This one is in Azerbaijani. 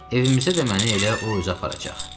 Evimizə də məni elə o özü aparacaq.